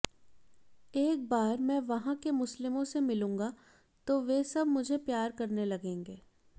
एक बार मैं वहां के मुस्लिमों से मिलूंगा तो वे सभी मुझे प्यार करने लगेंगे